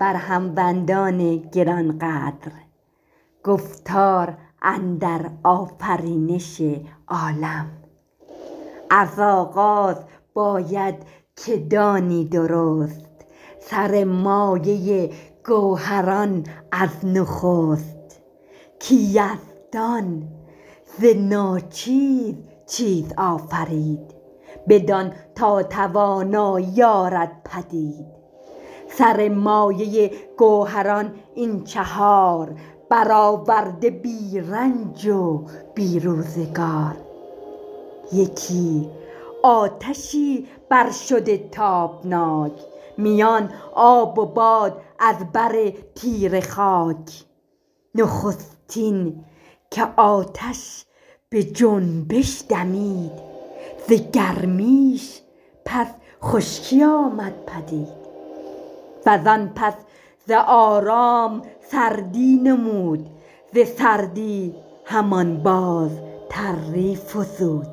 از آغاز باید که دانی درست سر مایه گوهران از نخست که یزدان ز ناچیز چیز آفرید بدان تا توانایی آرد پدید سر مایه گوهران این چهار برآورده بی رنج و بی روزگار یکی آتشی بر شده تابناک میان آب و باد از بر تیره خاک نخستین که آتش به جنبش دمید ز گرمیش پس خشکی آمد پدید و زان پس ز آرام سردی نمود ز سردی همان باز تری فزود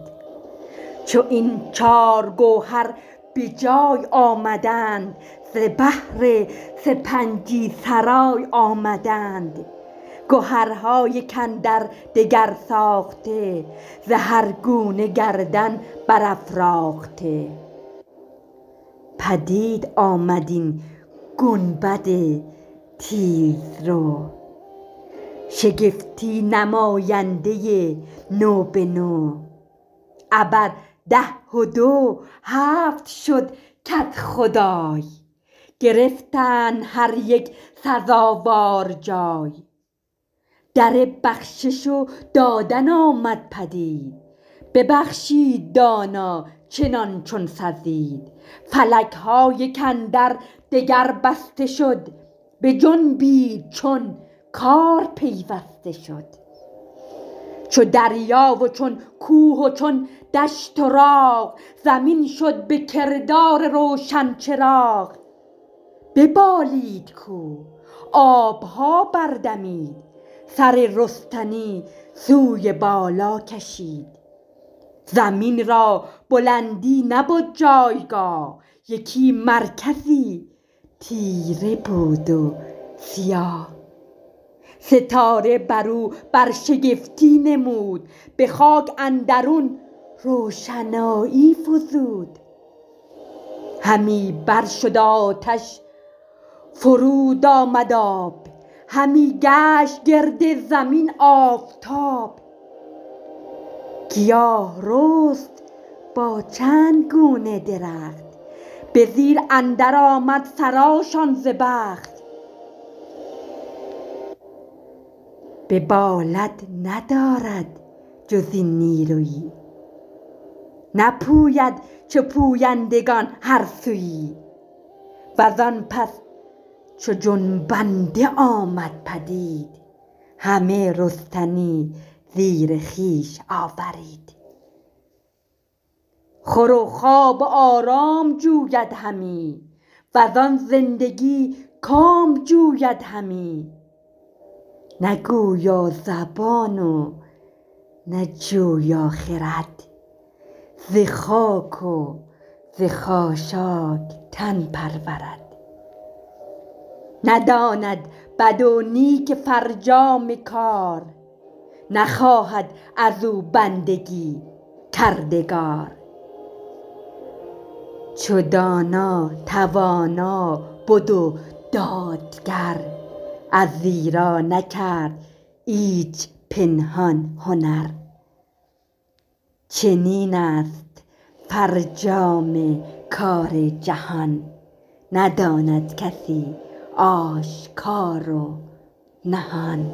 چو این چار گوهر به جای آمدند ز بهر سپنجی سرای آمدند گهرها یک اندر دگر ساخته ز هر گونه گردن برافراخته پدید آمد این گنبد تیز رو شگفتی نماینده نو به نو ابر ده و دو هفت شد کدخدای گرفتند هر یک سزاوار جای در بخشش و دادن آمد پدید ببخشید دانا چنان چون سزید فلک ها یک اندر دگر بسته شد بجنبید چون کار پیوسته شد چو دریا و چون کوه و چون دشت و راغ زمین شد به کردار روشن چراغ ببالید کوه آب ها بر دمید سر رستنی سوی بالا کشید زمین را بلندی نبد جایگاه یکی مرکزی تیره بود و سیاه ستاره بر او برشگفتی نمود به خاک اندرون روشنایی فزود همی بر شد آتش فرود آمد آب همی گشت گرد زمین آفتاب گیا رست با چند گونه درخت به زیر اندر آمد سران شان ز بخت ببالد ندارد جز این نیرویی نپوید چو پویندگان هر سویی و زان پس چو جنبنده آمد پدید همه رستنی زیر خویش آورید خور و خواب و آرام جوید همی و زان زندگی کام جوید همی نه گویا زبان و نه جویا خرد ز خاک و ز خاشاک تن پرورد نداند بد و نیک فرجام کار نخواهد از او بندگی کردگار چو دانا توانا بد و دادگر از ایرا نکرد ایچ پنهان هنر چنین است فرجام کار جهان نداند کسی آشکار و نهان